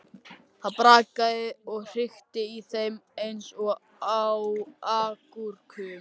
Það brakaði og hrikti í þeim eins og agúrkum.